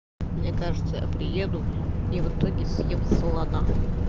мне кажется я приеду и в итоге съем слона